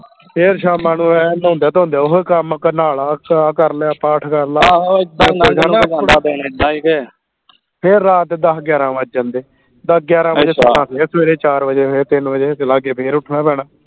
ਫੇਰ ਸ਼ਾਮਾਂ ਨੂੰ ਏਂ ਨਹਾਉਂਦੀਆਂ ਧੋਂਦੀਆਂ ਓਹੀ ਕੰਮ ਕੇ ਨਹਾ ਲਾ ਆਹ ਕਰ ਲਿਆ ਪਾਠ ਕਰ ਲਾ ਫੇਰ ਰਾਤ ਦੇ ਦੱਸ ਗਿਆਰਾਂ ਵੱਜ ਜਾਂਦੇ ਦੱਸ ਗਿਆਰਾਂ ਫੇਰ ਸਵੇਰੇ ਚਾਰ ਵਜੇ ਫੇਰ ਤਿੰਨ ਵਜੇ ਲਾਗੇ ਫੇਰ ਉੱਠਣਾ ਪੈਣਾ